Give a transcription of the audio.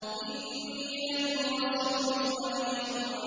إِنِّي لَكُمْ رَسُولٌ أَمِينٌ